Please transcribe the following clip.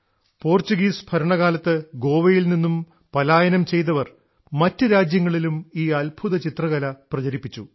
Portuguese ഭരണകാലത്ത് ഗോവയിൽ നിന്നും പാലായനം ചെയ്തവർ മറ്റു രാജ്യങ്ങളിലും ഈ അത്ഭുതചിത്രകല പ്രചരിപ്പിച്ചു